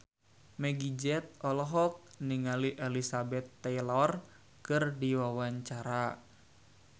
Meggie Z olohok ningali Elizabeth Taylor keur diwawancara